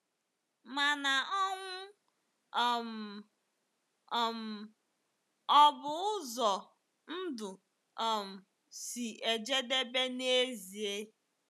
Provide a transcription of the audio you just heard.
Mana ọnwụ um um ọ̀ bụ ụzọ ndụ um si ejedebe n'ezie?